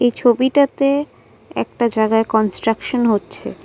ছবিটাতে একটা জাগায় কন্সট্রাকশন হচ্ছে।